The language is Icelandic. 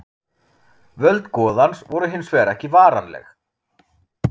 Völd goðans voru hins vegar ekki varanleg.